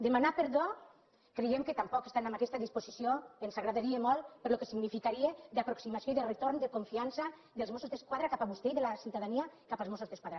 demanar perdó creiem que tampoc estan en aquesta disposició ens agradaria molt pel que significaria d’aproximació i de retorn de confiança dels mossos d’esquadra cap a vostè i de la ciutadania cap als mossos d’esquadra